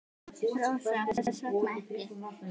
Rósa: Hvers vegna ekki?